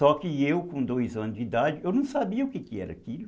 Só que eu com dois anos de idade, eu não sabia o que que era aquilo.